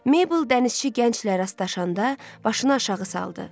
Mabel dənizçi gənclə rastlaşanda başını aşağı saldı.